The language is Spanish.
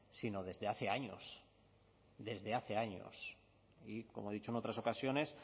sino desde hace años desde hace años y como he dicho en otras ocasiones